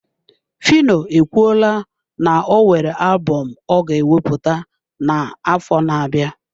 Phyno ekwuola na o nwere alubom ọ ga ewepụta n'afọ na-abịa.